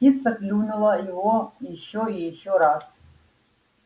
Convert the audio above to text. птица клюнула его ещё и ещё раз